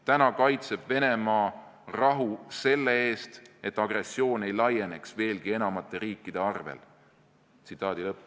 Täna kaitseb Venemaa rahu selle eest, et agressioon ei laieneks veelgi enamate riikide arvel.